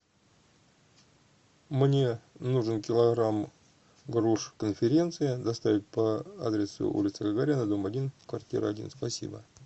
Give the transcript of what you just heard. мне нужен килограмм груш конференция доставить по адресу улица гагарина дом один квартира один спасибо